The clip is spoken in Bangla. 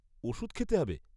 ওষুধ খেতে হবে?